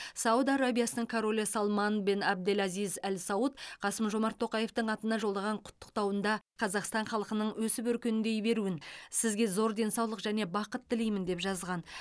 сауд арабиясының королі салман бен абдель азиз әл сауд қасым жомарт тоқаевтың атына жолдаған құттықтауында достас қазақстан халқының өсіп өркендей беруін сізге зор денсаулық және бақыт тілеймін деп жазған